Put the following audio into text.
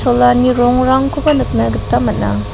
cholani rongrangkoba nikna gita man·a.